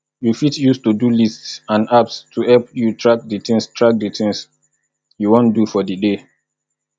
you fit use todolist and apps to help you track di things track di things you wan do for di day